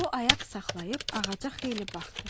O ayaq saxlayıb ağaca xeyli baxdı.